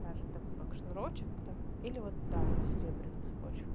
даже такой как шнурочек там или вот да на серебряную цепочку